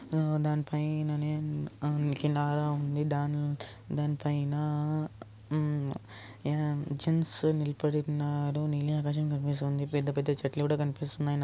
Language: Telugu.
హ దానిపైన నేమ్ హ ఉంది దాని దానిపైనా హ్మ్ జెంట్స్ నిలబడి ఉన్నారు నీలి ఆకాశం కనిపిస్తుంది పెద్ద పెద్ద చెట్లు కూడా కనిపిస్తున్నాయి.